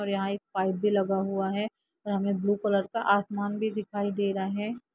और यहाँ एक पाइप भी लगा हुआ है और हमे ब्लू कलर का आसमान भी दिखाई दे रहा है।